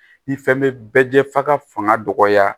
Ni fɛn bɛ bɛɛ jɛ f'a ka fanga dɔgɔya